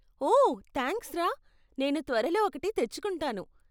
ఓ, thanks రా, నేను త్వరలో ఒకటి తెచ్చుకుంటాను.